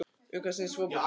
Um hvað snýst fótbolti?